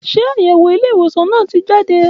Ṣe ayẹwo ilé ìwòsan náà ti jade